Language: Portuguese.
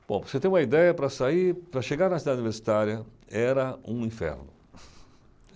Bom, para você ter uma ideia, para sair, para chegar na Cidade Universitária era um inferno.